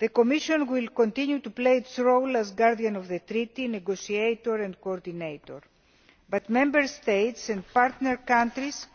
The Commission will continue to play its role as guardian of the treaties, negotiator and coordinator, but Member States and partner countries